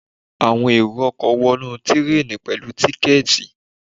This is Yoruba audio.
Àwọn èrò ọkọ̀ wọnú tireni pẹ̀lú tíkẹ̀tì